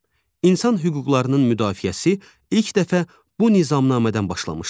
İnsan hüquqlarının müdafiəsi ilk dəfə bu nizamnamədən başlamışdır.